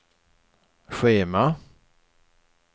schema